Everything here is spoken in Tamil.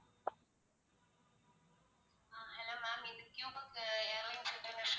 அஹ் hello ma'am இந்த cube க்கு